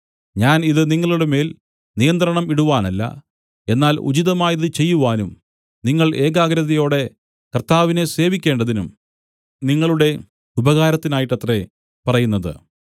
ഞാൻ ഇത് നിങ്ങളുടെമേൽ നിയന്ത്രണം ഇടുവാനല്ല എന്നാൽ ഉചിതമായത് ചെയ്യുവാനും നിങ്ങൾ ഏകാഗ്രതയോടെ കർത്താവിനെ സേവിക്കേണ്ടതിനും നിങ്ങളുടെ ഉപകാരത്തിനായിട്ടത്രേ പറയുന്നത്